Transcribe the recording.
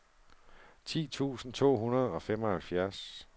ti tusind to hundrede og femoghalvfjerds